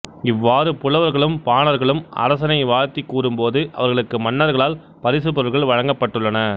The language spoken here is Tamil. இவ்வாறு புலவர்களும் பாணர்களும் அரசனை வாழ்த்திக் கூறும்போது அவர்களுக்கு மன்னர்களால் பரிசுப்பொருள்கள் வழங்கப்பட்டுள்ளன